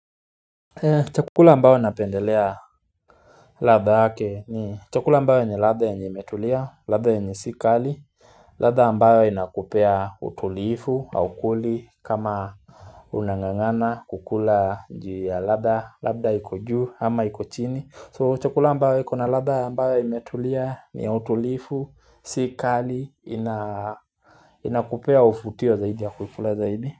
Chakula ambayo napendelea radha yake ni chakula ambao ni radha enye imetulia, radha yenye si kali, rarha ambayo inakupea utulifu, haukuli, kama unangangana kukula njia radha, labda iko juu, ama iko chini. So chakula ambayo iko na radha ambayo imetulia ni utulifu, si kali, inakupea ufutio zaidi ya kukula zaidi.